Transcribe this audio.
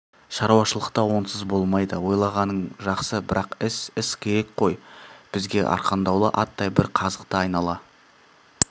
шаруашылықта онсыз болмайды ойлағаның жақсы бірақ іс іс керек қой бізге арқандаулы аттай бір қазықты айнала